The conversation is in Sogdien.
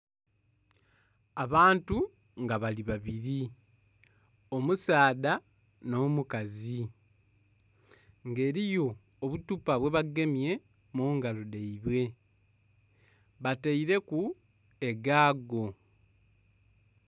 Abantu nga bali babiri omusaadha n'omukazi nga eriyo obuthupa bwebagemye mungalo dhaibwe bataire ku egaago.